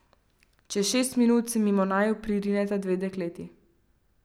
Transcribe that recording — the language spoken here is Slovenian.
Čez šest minut se mimo naju pririneta dve dekleti.